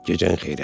Gecən xeyrə.